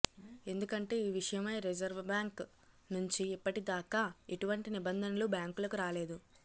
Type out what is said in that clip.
ఎందుకంటే ఈ విషయమై రిజర్వ్బ్యాంక్ నుంచి ఇప్పటిదాకా ఎటువంటి నిబంధనలూ బ్యాంకులకు రాలేదు